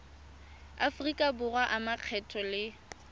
aforika borwa a makgetho le